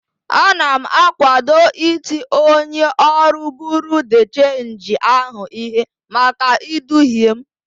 Ana m akwado iti onye ọrụ buru de chenji ahụ ihe maka iduhie m.